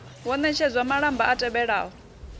wo ṋetshedza malamba a tevhelaho